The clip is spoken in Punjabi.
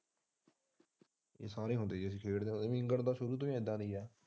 ਅਸੀਂ ਸਾਰੇ ਹੁੰਦੇ ਸੀ ਖੇਡਦੇ ਤਾ ਸ਼ੁਰੂ ਤੋਂ ਹੀ ਇਹਦਾ ਦੀ ਹੈ।